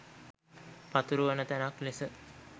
පතුරුවන තැනක් ලෙස